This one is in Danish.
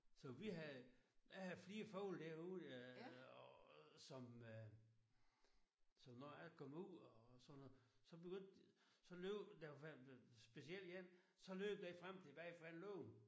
Så vi havde jeg havde flere fugle derude øh og som øh som når jeg kom ud og sådan noget så begyndte så løb der var specielt jeg for jeg løb frem og tilbage foran lågen